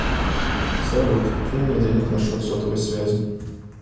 салют кинь мне денег на счет сотовой связи